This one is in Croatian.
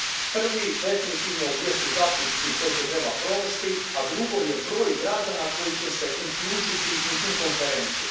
Prvi definitivno jesu zaključci koje će trebati provesti, a drugo je broj građana koji će se uključiti u tu konferenciju.